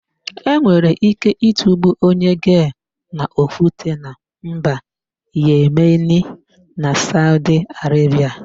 E nwere íké ịtụgbu onye gee n'okwute na mba Yemeni na Saudi Arebia.